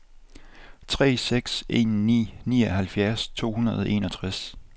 tre seks en ni nioghalvfjerds to hundrede og enogtres